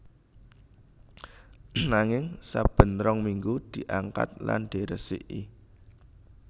Nanging saben rong minggu diangkat lan diresiki